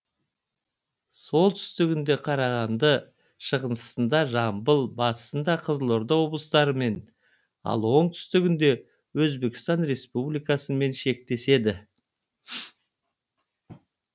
солтүстігінде қарағанды шығысында жамбыл батысында қызылорда облыстарымен ал оңтүстігінде өзбекстан республикасымен шектеседі